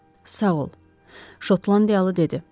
Sağ ol, Şotlandiyalı dedi.